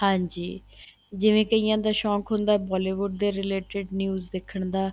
ਹਾਂਜੀ ਜਿਵੇਂ ਕਈਆਂ ਸ਼ੋਂਕ ਹੁੰਦਾ Bollywood ਦੇ related news ਦੇਖਣ ਦਾ